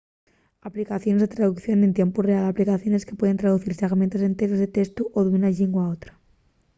aplicaciones de traducción en tiempu real aplicaciones que pueden traducir segmentos enteros de testu d'una llingua a otra